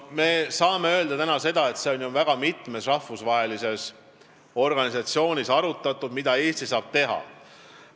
Me saame täna öelda, et väga mitmes rahvusvahelises organisatsioonis on ju arutatud seda, mida Eesti saab teha.